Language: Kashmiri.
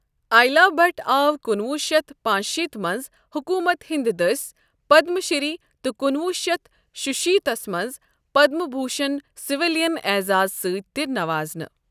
ایلا بھٹ آو کُنہوُہ شیتھ پانٛژشیتھ منٛز حکومتہِ ہِند دٔسۍ پدم شری تہٕ کُنہوُہ شیت شُشیتھ منٛز پدم بھوشن سویلین اعزاز ستۍ تہِ نوازانہٕ۔